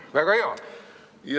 Väga hea!